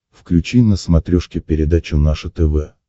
включи на смотрешке передачу наше тв